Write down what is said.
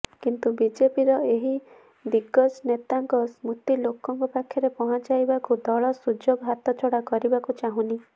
କିନ୍ତୁ ବିଜେପିର ଏହି ଦିଗ୍ଗଜ୍ ନେତାଙ୍କ ସ୍ମୃତି ଲୋକଙ୍କ ପାଖରେ ପହଁଚାଇବାକୁ ଦଳ ସୁଯୋଗ ହାତଛଡା କରିବାକୁ ଚାହୁଁନି